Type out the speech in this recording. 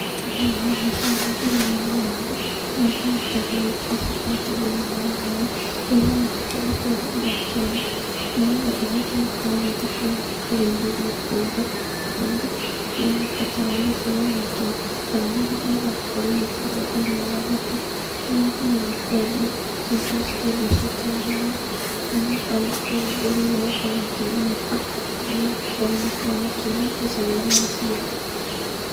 Thĩinĩ wa mbica ĩno ndĩrona ng'ondu, harĩa ihana tarĩ gwĩkĩrwo ciĩkĩrĩtwo thĩinĩ wa ngari, kũrĩa ihana tarĩ gũtwarwo iratwarwo nĩgetha ihote gũkorwo igĩthiĩ kũrĩithĩrio kũndũ kũngĩ, ironeka tarĩ gũtwarwo iratwarwo, kana hihi igakorwo igĩtwarwo thĩinĩ wa thoko, kũrĩa ithiaga kwendio, cigakorwo cikĩendio ciĩta nyama arĩmi magakorwo makĩgunĩka, nĩgũkorwo nĩmakoragwo makĩona mbeca rĩrĩa maciendia.